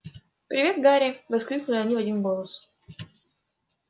привет гарри воскликнули они в один голос